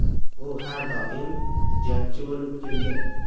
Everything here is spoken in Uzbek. U har doim jangchi bo‘lib kelgan.